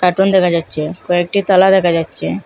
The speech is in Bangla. কার্টুন দেখা যাচ্ছে কয়েকটি তালা দেখা যাচ্ছে।